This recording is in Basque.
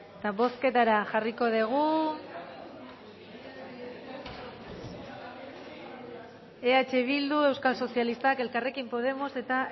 eta bozketara jarriko dugu eh bildu euskal sozialistak elkarrekin podemos eta